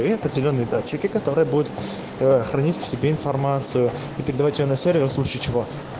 зелёный датчике который будет хранить в себе информацию передать его на сервер в случае чего